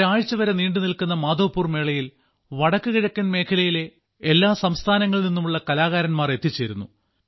ഒരാഴ്ചവരെ നീണ്ടുനിൽക്കുന്ന മാധവ്പുർ മേളയിൽ വടക്കുകിഴക്കൻ മേഖലയിലെ എല്ലാ സംസ്ഥാനങ്ങളിൽ നിന്നുമുള്ള കലാകാരന്മാർ എത്തിച്ചേരുന്നു